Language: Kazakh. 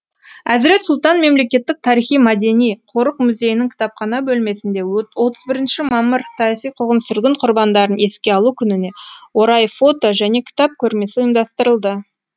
әзірет сұлтан мемлекеттік тарихи мәдени қорық музейінің кітапхана бөлмесінде отыз бірінші мамыр саяси қуғын сүргін құрбандарын еске алу күніне орай фото және кітап көрмесі ұйымдастырылды